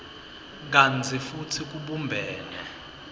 kantsi futsi kubumbene